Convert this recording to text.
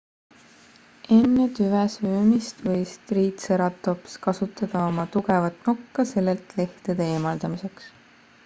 enne tüve söömist võis triitseratops kasutada oma tugevat nokka sellelt lehtede eemaldamiseks